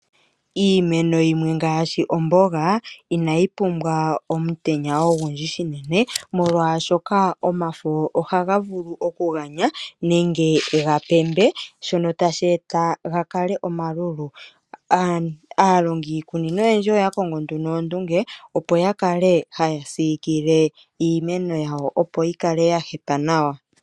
Iimeno yimwe ngaashi omboga inayi pumbwa omutenya ogundji shinene, molwaashoka omafo ohaga vulu okuganya nenge ga pembe shono tashi e ta ga kale omalulu. Aalongi yiikunino oya kongo nduno ondunge opo ya kale haya siikile iimeno yawo, opo yi kale ya hapa nawa.